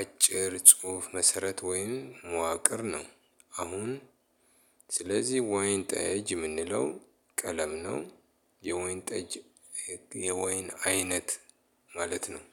አጭር ጽሁፍ መሰረት ወይም መዋቅር ነው። አሁን ስለዚህ ወይን ጠጅ የምንለው ቀለም ነው። የወይን ጠጅ የወይን አይነት ማለት ነው።